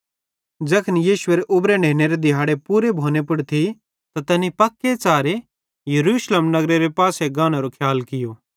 ज़ैखन यीशुएरे उबरे नेनेरे दिहाड़े पूरे भोने पुड़ थी त तैनी पक्के च़ारे यरूशलेम नगरेरे पासे गानेरो खियाल कियो